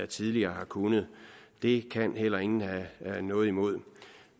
tidligere har kunnet det kan heller ingen have noget imod